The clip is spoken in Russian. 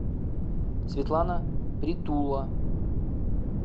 светлана притула